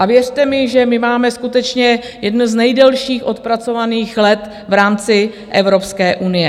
A věřte mi, že my máme skutečně jedny z nejdelších odpracovaných let v rámci Evropské unie.